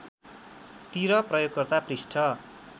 तिर प्रयोगकर्ता पृष्ठ